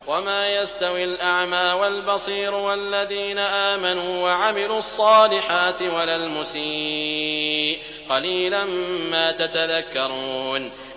وَمَا يَسْتَوِي الْأَعْمَىٰ وَالْبَصِيرُ وَالَّذِينَ آمَنُوا وَعَمِلُوا الصَّالِحَاتِ وَلَا الْمُسِيءُ ۚ قَلِيلًا مَّا تَتَذَكَّرُونَ